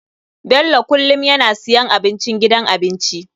Bello kullum yana siyan abincin gidan abinci.